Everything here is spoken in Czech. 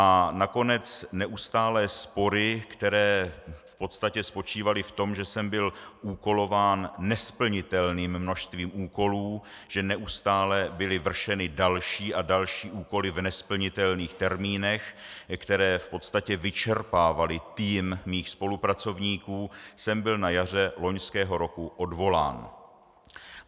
A nakonec neustálé spory, které v podstatě spočívaly v tom, že jsem byl úkolován nesplnitelným množstvím úkolů, že neustále byly vršeny další a další úkoly v nesplnitelných termínech, které v podstatě vyčerpávaly tým mých spolupracovníků, jsem byl na jaře loňského roku odvolán.